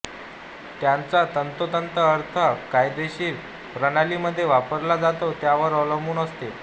त्याचा तंतोतंत अर्थ ज्या कायदेशीर प्रणालीमध्ये वापरला जातो त्यावर अवलंबून असते